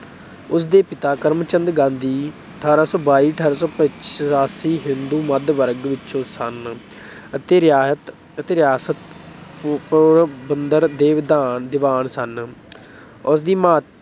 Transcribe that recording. ਉਸਦੇ ਪਿਤਾ ਕਰਮਚੰਦ ਗਾਂਧੀ ਅਠਾਰਾਂ ਸੌ ਬਾਈ ਅਠਾਰਾਂ ਸੌ ਪਚਾਸੀ ਹਿੰਦੂ ਮੱਧ ਵਰਗ ਵਿੱਚੋਂ ਸਨ ਅਤੇ ਰਿਆਇਤ ਅਤੇ ਰਿਆਸਤ ਪੋਰਬੰਦਰ ਦੇ ਦੀਵਾਨ ਸਨ, ਉਸਦੀ ਮਾਂ